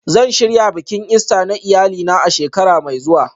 Zan shirya bikin Ista na iyalina a shekara mai zuwa